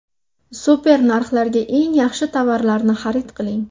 Super narxlarga eng yaxshi tovarlarni xarid qiling!